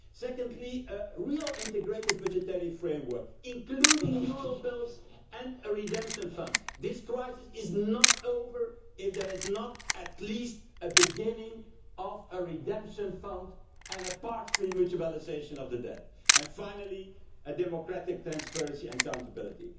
fund secondly, a real integrated budgetary framework, including eurobills and a redemption fund this crisis is not over if there is not at least the beginning of a redemption fund and a partial mutualisation of the debt and, finally, democratic transparency and accountability.